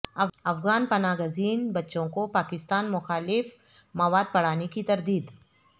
افغان پناہ گزین بچوں کو پاکستان مخالف مواد پڑھانے کی تردید